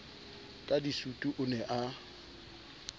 ka disutu o ne a